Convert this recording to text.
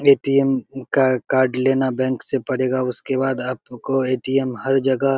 ATM. का card लेना bank से पड़ेगा उसके बाद आपको ए.टी.एम. हर जगह --